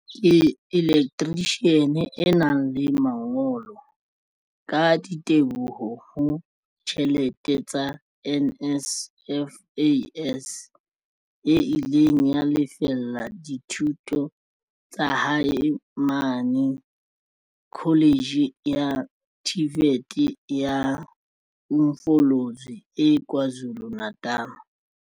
Ke elektrishiane e nang le mangolo, ka diteboho ho tjhelete tsa NSFAS, e ileng ya lefella dithuto tsa hae mane Kholetjhe ya TVET ya Umfolozi e KwaZulu-Natal.